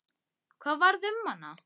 Hvað varð um hana?